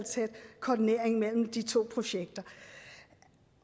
koordinering mellem de to projekter